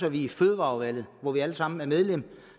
at vi i fødevareudvalget hvor vi alle sammen er medlemmer